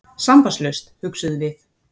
Sambandslaust, hugsuðum við.